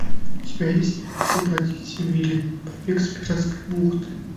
у тебя есть освободите вилли побег из пиратской бухты